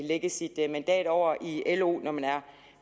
lægge sit mandat over i lo når man er